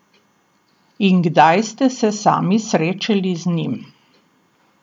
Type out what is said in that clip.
In kdaj ste se sami srečali z njim?